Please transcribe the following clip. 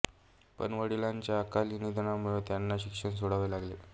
पण वडिलांच्या अकाली निधनामुळे त्यांना शिक्षण सोडावे लागले